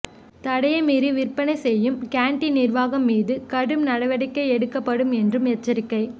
தடையை மீறி விற்பனை செய்யும் கேண்டீன் நிர்வாகம் மீது கடும் நடவடிக்கை எடுக்கப்படும் என்றும் எச்சரிக்கை